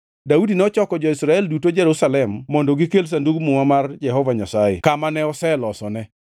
Daudi nochoko jo-Israel duto Jerusalem mondo gikel Sandug Muma mar Jehova Nyasaye kama ne oselosone.